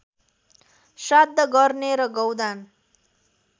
श्राद्ध गर्ने र गौदान